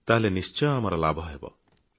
ତେବେ ନିଶ୍ଚୟ ଲାଭ ହେବ